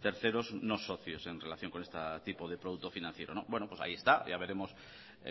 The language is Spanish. terceros no socios en relación con este tipo de producto financiero bueno pues ahí está ya veremos